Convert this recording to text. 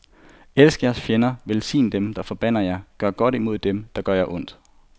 Elsk jeres fjender, velsign dem, der forbander jer, gør godt imod dem, der gør jer ondt.